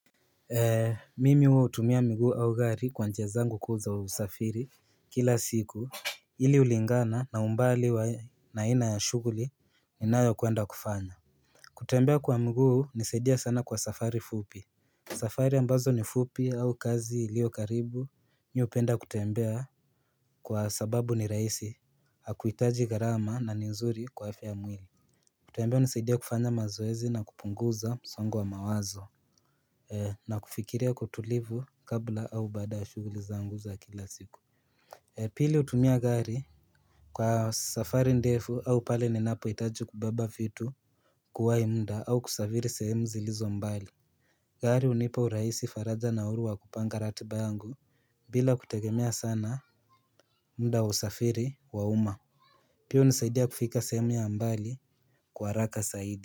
Mimi huwa hutumia mguu au gari kwa njia zangu kuu za wa usafiri kila siku ili ulingana na umbali wa na ina ya shughuli ninayokuenda kufanya kutembea kwa mguu unasaidia sana kwa safari fupi safari ambazo ni fupi au kazi ilio karibu mi upenda kutembea kwa sababu ni raisi hakuitaji gharama na ni nzuri kwa afya ya mwili kutembea hunisadia kufanya mazoezi na kupunguza msongo wa mawazo na kufikiria kwa utulivu kabla au badaa ya shughuli zangu za kila siku Pili hutumia gari kwa safari ndefu au pale ninapohitaji kubeba vitu Kuwai muda au kusafiri sehemu zilizo mbali gari hunipa urahisi faraja na uhuru wa kupanga ratiba angu bila kutegemea sana muda wa safiri wa uma Pia hunisaidia kufika sehemu ya mbali kwa haraka saidi.